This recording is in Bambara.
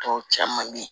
Tɔw caman bɛ yen